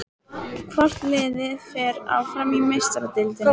Hvort liðið fer áfram í Meistaradeildinni?